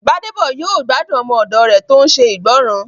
Gbádébọ̀ yóò gbádùn ọmọ òdò rẹ̀ tó n ṣe ìgbọràn